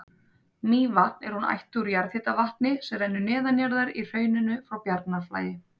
Mývatn er hún ættuð úr jarðhitavatni sem rennur neðanjarðar í hrauninu frá Bjarnarflagi.